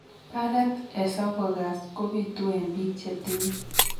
Barret esophagus kobitu en biik chetinye